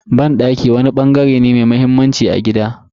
Banɗaki wani bangare ne mai muhimmanci a cikin gida.